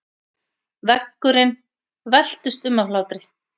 Veggurinn veltist um af hlátri.